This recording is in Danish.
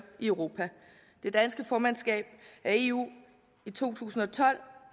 i europa det danske formandskab af eu i to tusind og tolv